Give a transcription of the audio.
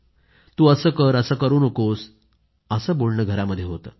तू असं कर असं करू नकोस असं बोलणं घरांमध्ये होतं